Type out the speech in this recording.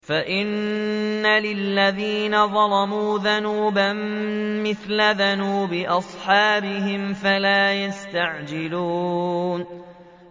فَإِنَّ لِلَّذِينَ ظَلَمُوا ذَنُوبًا مِّثْلَ ذَنُوبِ أَصْحَابِهِمْ فَلَا يَسْتَعْجِلُونِ